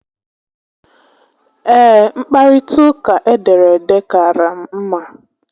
Ee, mkparita uka edere ede kaara m mma